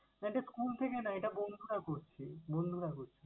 না এটা school থেকে না, এটা বন্ধুরা করছে, বন্ধুরা করছে।